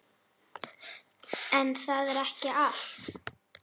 En það er ekki allt.